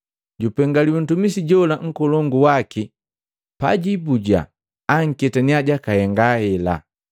Jupengaliwi ntumisi jola nkolongu waki pajibuja aketaniya jakahenga hela.